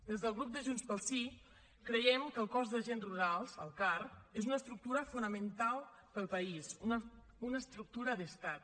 des del grup de junts pel sí creiem que el cos d’agents rurals el car és una estructura fonamental per al país una estructura d’estat